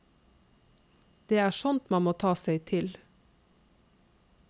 Det er sånt man må ta seg til.